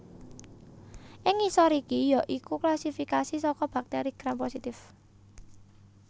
Ing ngisor iki ya iku klasifikasi saka bakteri Gram positif